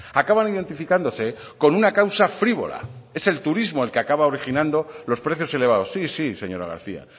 acaban identificándose con una causa frívola es el turismo que el que acaba originando los precios elevados sí sí señora garcía